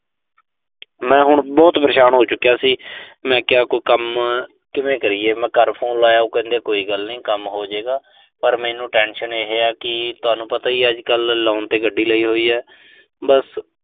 ਮੈਂ ਹੁਣ ਬਹੁਤ ਪਰੇਸ਼ਾਨ ਹੋ ਚੁੱਕਿਆ ਸੀ। ਮੈਂ ਕਿਹਾ ਕੋਈ ਕੰਮ ਕਿਵੇਂ ਕਰੀਏ। ਮੈਂ ਘਰ ਫੋਨ ਲਾਇਆ, ਉਹ ਕਹਿੰਦੇ ਕੋਈ ਗੱਲ ਨਈਂ, ਕੰਮ ਹੋਜੇ ਗਾ, ਪਰ ਮੈਨੂੰ tension ਇਹ ਆ ਕਿ, ਤੁਹਾਨੂੰ ਪਤਾ ਈ ਐ ਅੱਜਕੱਲ੍ਹ loan ਤੇ ਗੱਡੀ ਲਈ ਹੋਈ ਐ।